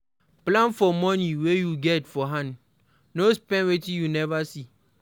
Plan for money wey you get for hand, no spend wetin you nova see